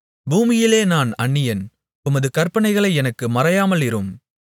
பூமியிலே நான் அந்நியன் உமது கற்பனைகளை எனக்கு மறையாமலிரும்